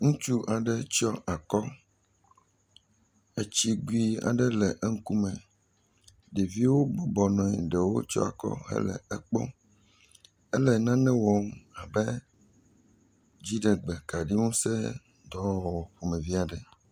Ŋutsu aɖe tsyɔ akɔ. Etsigu aɖe le eŋkume, ɖevowo bɔbɔ nɔ anyi, ɖewo tsyɔ akɔ hele ekpɔm. elenane wɔm abe dziɖegbe kaɖi ŋusẽ dɔwɔwɔ ƒomevie aɖe ene.